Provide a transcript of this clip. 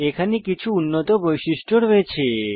এখানে কিছু উন্নত বৈশিষ্ট্য রয়েছে